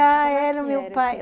Ah, tá. Era o meu pai